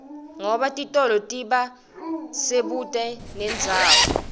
ngoba titolo tiba sebuute nendzawd